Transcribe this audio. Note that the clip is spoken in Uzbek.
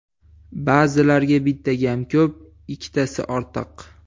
Ba’zilarga bitta gap kam, ikkitasi ortiq.